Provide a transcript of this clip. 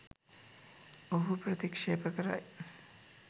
ඔහුව ප්‍රතික්ෂේප කරයි